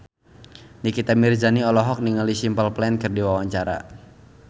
Nikita Mirzani olohok ningali Simple Plan keur diwawancara